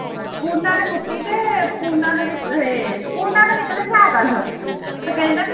ਪੁੰਨਾ ਨੇ ਪੁੱਟੀ ਤੇ ਪੂਨਾ ਨੂੰ ਵੀ ਇਹ ਪੂਨਾ ਨੂੰ ਨਿਕਲੀ ਸਾਇਕਲ ਤੇ ਕਹਿੰਦਾ ਵੀ